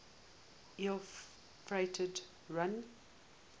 ill fated run